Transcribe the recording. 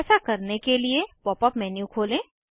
ऐसा करने के लिए पॉप अप मेन्यू खोलें